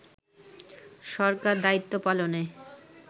সরকার দায়িত্ব পালনে